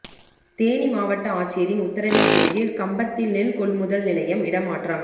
தேனி மாவட்ட ஆட்சியரின் உத்தரவின்பேரில் கம்பத்தில் நெல் கொள்முதல் நிலையம் இடமாற்றம்